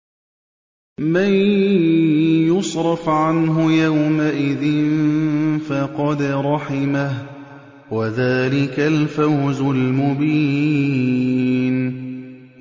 مَّن يُصْرَفْ عَنْهُ يَوْمَئِذٍ فَقَدْ رَحِمَهُ ۚ وَذَٰلِكَ الْفَوْزُ الْمُبِينُ